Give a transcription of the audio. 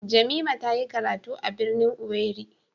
Jamimah tayi karatu a birnin owerri.